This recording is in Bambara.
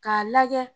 K'a lajɛ